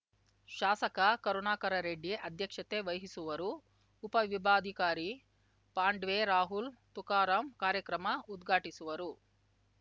ಶಾಸಕ ಕರುಣಾಕರರೆಡ್ಡಿ ಅಧ್ಯಕ್ಷತೆ ವಹಿಸುವರು ಉಪವಿಭಾಧಿಕಾರಿ ಪಾಂಡ್ವೆ ರಾಹುಲ್‌ ತುಕಾರಾಂ ಕಾರ್ಯಕ್ರಮ ಉದ್ಘಾಟಿಸುವರು